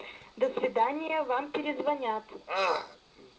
до свидания вам перезвонят а